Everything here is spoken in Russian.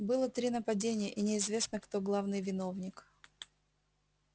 было три нападения и неизвестно кто главный виновник